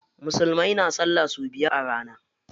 Musulmai na sallah sau biyar a rana